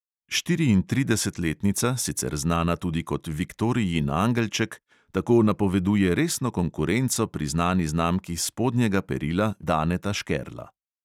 Štiriintridesetletnica, sicer znana tudi kot viktorijin angelček, tako napoveduje resno konkurenco priznani znamki spodnjega perila Daneta Škerla.